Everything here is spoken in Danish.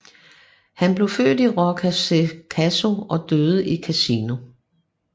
Han blev født i Roccasecca og døde i Cassino